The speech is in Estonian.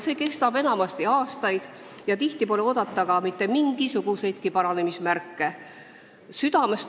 See kestab tihti aastaid ja sageli pole oodata ka mitte mingisuguseid paranemise märke.